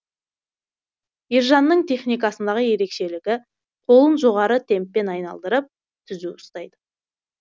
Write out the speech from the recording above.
ержанның техникасындағы ерекшелігі қолын жоғары темппен айналдырып түзу ұстайды